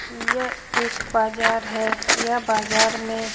यह एक बाजार है यह बाजार में --